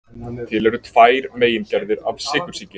Til eru tvær megingerðir af sykursýki.